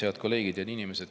Head kolleegid!